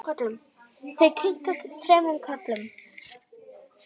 Þau kinka þremur kollum.